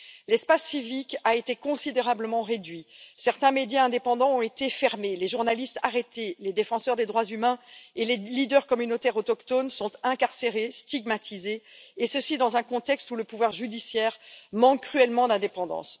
L'espace civique a été considérablement réduit, certains médias indépendants ont été fermés, les journalistes arrêtés, les défenseurs des droits humains et les leaders communautaires autochtones sont incarcérés, stigmatisés, et ceci dans un contexte où le pouvoir judiciaire manque cruellement d'indépendance.